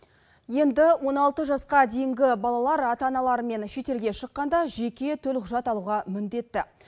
енді он алты жасқа дейінгі балалар ата аналарымен шетелге шыққанда жеке төлқұжат алуға міндетті